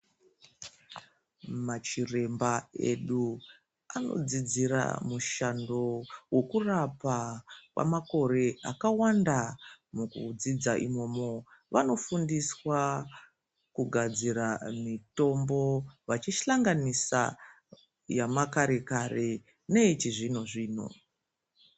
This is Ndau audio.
Machiremba edu anodzidzira mushando wokurapa kwamakore akawanda. Mukudzidza imomo vanofundiswa kugadzira mitombo vachihlanganisa yamakare-kare neyechizvino-zvino.